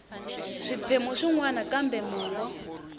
swiphemu swin wana kambe mongo